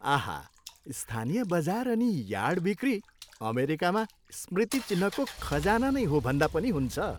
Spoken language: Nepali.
आहा! स्थानीय बजार अनि यार्ड बिक्री अमेरिकामा स्मृति चिह्नको खजाना नै हो भन्दा पनि हुन्छ।